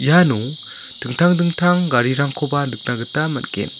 iano dingtang dingtang garirangkoba nikna gita man·gen.